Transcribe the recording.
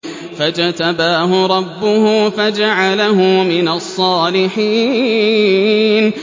فَاجْتَبَاهُ رَبُّهُ فَجَعَلَهُ مِنَ الصَّالِحِينَ